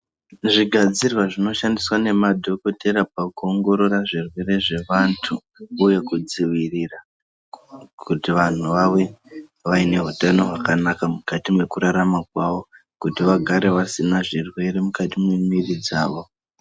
Zvigadzirwa zvinoshandiswa nemadhogodheya pakuongorora zvirwere zvevantu uye kudzivirira kuti vantu vave vaine utano hwakanaka mukati mekurarama kwavo kuti vagare vasina zvirwere mukati memwiri dzavo.